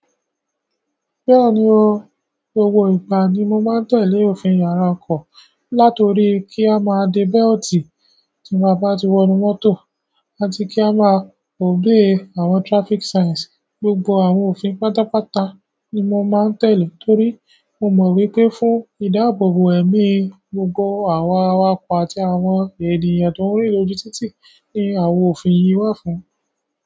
Bẹ́ẹ̀ni o, gbogbo ìgbà ni mo máa ń tẹ̀lé òfin yàrá ọkọ̀, látọ̀rí kí a máa de bẹ́ltì tí a ba ti wọ nú mọ́tò àti kí a máa òbe àwọn traffic signs. Gbogbo àwọn òfin pátápátá ni mo máa ń tẹ̀lé torí mo mọ̀ wípé fún ìdáàbòbò ẹ̀mí gbogbo àwa awakọ̀ àti àwọn ènìyàn tó ń rìn lójú títì ni àwọn òfin yìí wà fún.